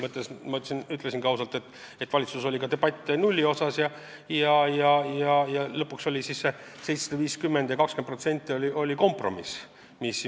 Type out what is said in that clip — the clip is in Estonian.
Ma ütlesin ausalt, et valitsuses arutati ka nullmäära ja lõpuks jõuti kompromissile: 750 eurot ja 20%.